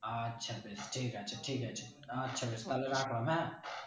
আচ্ছা আচ্ছা ঠিক আছে ঠিক আছে আচ্ছা বেশ তালে রাখলাম হ্যাঁ?